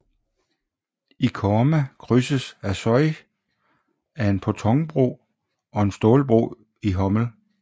I Korma krydses af Sosj af en pontonbro og en stålbro i Homel